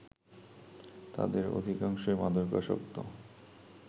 তাদের অধিকাংশই মাদকাসক্ত